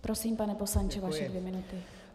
Prosím, pane poslanče, vaše dvě minuty.